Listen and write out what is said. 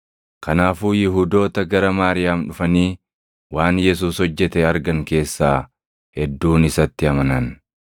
Kanaafuu Yihuudoota gara Maariyaam dhufanii waan Yesuus hojjete argan keessaa hedduun isatti amanan.